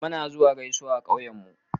Muna zuwa gaisawa a ƙauyen mu.